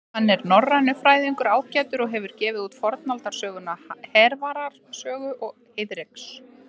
Hann er norrænufræðingur ágætur og hefur gefið út fornaldarsöguna Hervarar sögu og Heiðreks.